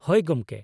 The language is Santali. ᱦᱳᱭ, ᱜᱚᱝᱠᱮ᱾